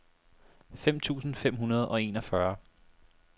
fem tusind fem hundrede og enogfyrre